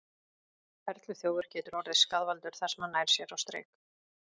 Perluþjófur getur orðið skaðvaldur þar sem hann nær sér á strik.